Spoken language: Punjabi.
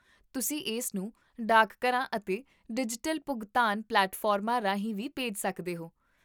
ਤੁਸੀਂ ਇਸਨੂੰ ਡਾਕਘਰਾਂ ਅਤੇ ਡਿਜੀਟਲ ਭੁਗਤਾਨ ਪਲੇਟਫਾਰਮਾਂ ਰਾਹੀਂ ਵੀ ਭੇਜ ਸਕਦੇ ਹੋ